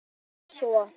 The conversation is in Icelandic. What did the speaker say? Það hljómar svo